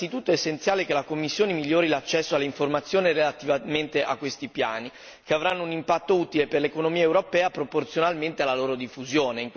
Innanzitutto, è essenziale che la Commissione migliori l'accesso alle informazioni relativamente a questi piani, che avranno un impatto utile per l'economia europea proporzionalmente alla loro diffusione.